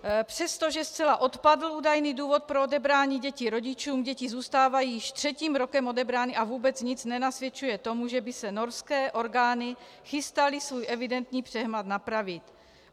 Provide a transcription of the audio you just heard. Přestože zcela odpadl údajný důvod pro odebrání dětí rodičům, děti zůstávají již třetím rokem odebrány a vůbec nic nenasvědčuje tomu, že by se norské orgány chystaly svůj evidentní přehmat napravit.